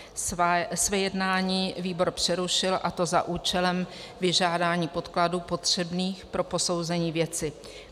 Své jednání výbor přerušil, a to za účelem vyžádání podkladů potřebných pro posouzení věci.